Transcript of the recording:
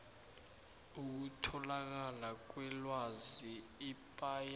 ukutholakala kwelwazi ipaia